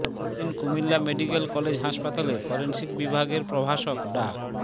পরদিন Comilla medical college হাসপাতালে forensic বিভাগের প্রভাষক ডা